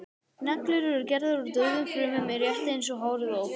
neglur eru gerðar úr dauðum frumum rétt eins og hárið á okkur